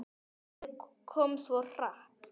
Æxlið kom svo hratt.